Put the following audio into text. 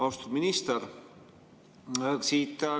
Austatud minister!